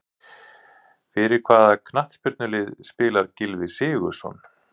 Fyrir hvaða knattspyrnulið spilar Gylfi Sigurðsson?